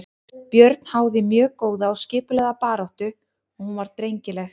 Björn háði mjög góða og skipulagða baráttu og hún var drengileg.